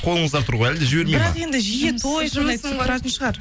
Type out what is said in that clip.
қолыңызда тұр ғой әлде жібермейді ме бірақ енді жиі той